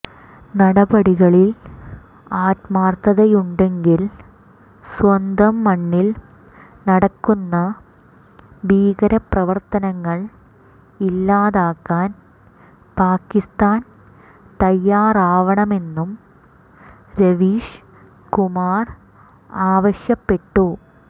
നടപടികളിൽ ആത്മാർഥതയുണ്ടെങ്കിൽ സ്വന്തം മണ്ണിൽ നടക്കുന്ന ഭീകരപ്രവർത്തനങ്ങൾ ഇല്ലാതാക്കാൻ പാകിസ്താൻ തയാറാവണമെന്നും രവീഷ് കുമാർ ആവശ്യപ്പെട്ടു